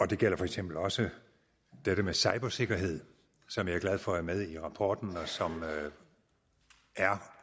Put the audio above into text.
det gælder for eksempel også dette med cybersikkerhed som jeg er glad for er med i rapporten og som er